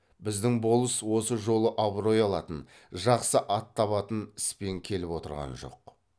біздің болыс осы жолы абырой алатын жақсы ат табатын іспен келіп отырған жоқ